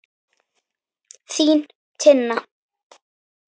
Þín, Tinna.